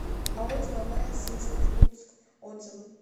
ао деловая сеть иркутск отзывы